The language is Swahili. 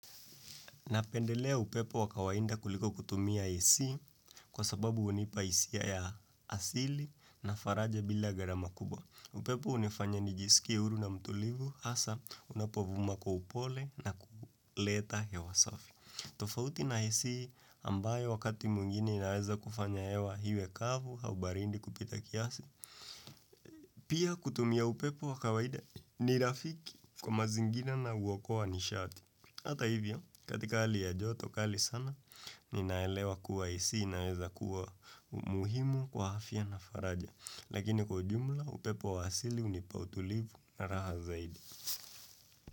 Napendelea upepo wa kawaida kuliko kutumia AC kwa sababu hunipa hisia ya asili na faraja bila gharama kubwa. Upepo hunifanya nijisikie huru na mtulivu hasa unapovuma kwa upole na kuleta hewa safi. Tofauti na AC ambayo wakati mwingine inaweza kufanya hewa hiwe kavu au baridi kupita kiasi. Pia kutumia upepo wa kawaida ni rafiki kwa mazingira na huokoa nishati. Hata hivyo, katika hali ya joto kali sana, ninaelewa kuwa AC inaweza kuwa muhimu kwa afya na faraja. Lakini kwa ujumla, upepo wa asili hunipa utulivu na raha zaidi.